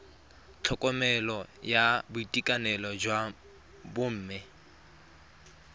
tlhokomelo ya boitekanelo jwa bomme